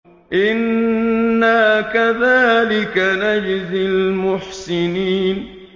إِنَّا كَذَٰلِكَ نَجْزِي الْمُحْسِنِينَ